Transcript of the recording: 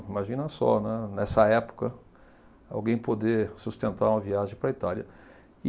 Imagina só, né, nessa época, alguém poder sustentar uma viagem para a Itália.